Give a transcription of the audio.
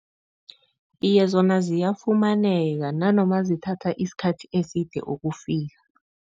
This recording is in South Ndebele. Iye, zona ziyafumaneka nanoma zithatha isikhathi eside ukufika.